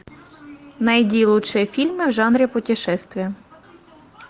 найди лучшие фильмы в жанре путешествия